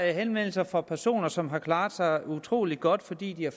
er henvendelser fra personer som har klaret sig utrolig godt fordi de har